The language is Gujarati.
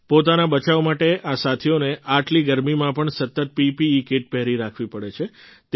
પોતાના બચાવ માટે આ સાથીઓને આટલી ગરમીમાં પણ સતત પીપીઇ કિટ પહેરી રાખવી પડે છે